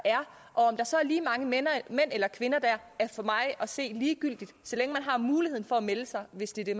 og om der så er lige mange mænd eller kvinder der er for mig at se ligegyldigt så længe man har muligheden for at melde sig hvis det det